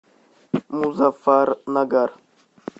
музаффарнагар